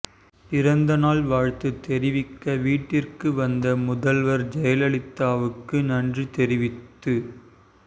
பிறந்தநாள் வாழ்த்து தெரிவிக்க வீட்டிற்கு வந்த முதல்வர் ஜெயலலிதாவுக்கு நன்றி தெரிவித்து தா